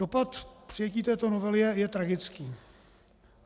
Dopad přijetí této novely je tragický.